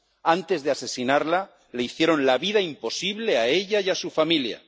Antes de asesinarla le hicieron la vida imposible a ella y a su familia